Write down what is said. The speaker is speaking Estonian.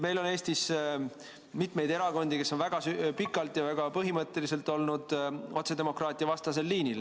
Meil on Eestis mitu erakonda, kes on väga kaua ja väga põhimõtteliselt olnud otsedemokraatiavastasel liinil.